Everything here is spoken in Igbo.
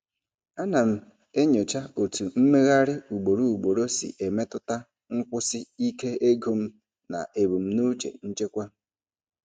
Ana m enyocha otú mmegharị ugboro ugboro si emetụta nkwụsi ike ego m na ebumnuche nchekwa.